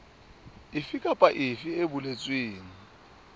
efe kapa efe e boletsweng